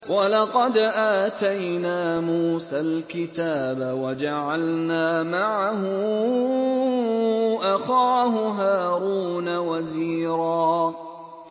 وَلَقَدْ آتَيْنَا مُوسَى الْكِتَابَ وَجَعَلْنَا مَعَهُ أَخَاهُ هَارُونَ وَزِيرًا